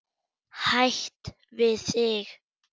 Hætt við þig.